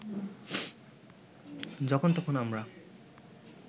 যখন তখন আমরা